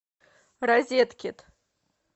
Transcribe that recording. розеткед